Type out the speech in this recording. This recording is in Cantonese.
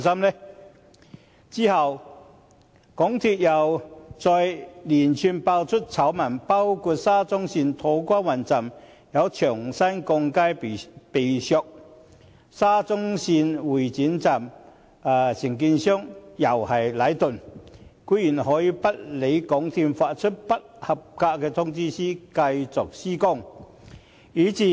其後，港鐵公司再接連爆出醜聞，包括沙中線土瓜灣站有牆身鋼筋被削，沙中線會展站承建商同樣是禮頓，他們居然可以不理港鐵公司發出的不合格通知書，繼續施工。